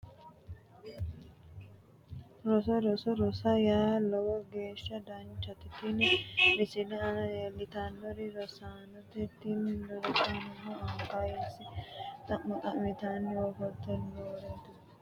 Roso roso rosa yaa lowo geeshsha danchate tini misilete aana leeltannoti rosaanote tini rosaanono anga kayisse xa'mo xa'mitanni afantanno rosa danchate